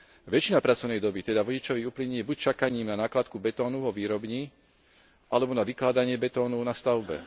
Väčšina pracovnej doby teda vodičovi uplynie buď čakaním na nakládku betónu vo výrobni alebo na vykladanie betónu na stavbe.